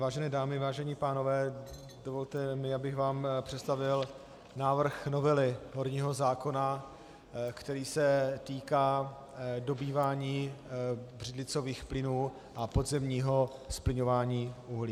Vážené dámy, vážení pánové, dovolte mi, abych vám představil návrh novely horního zákona, který se týká dobývání břidlicových plynů a podzemního zplyňování uhlí.